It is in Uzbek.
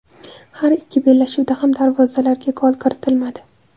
Har ikki bellashuvda ham darvozalarga gol kiritilmadi.